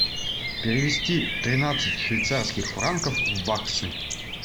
перевести тринадцать швейцарских франков в баксы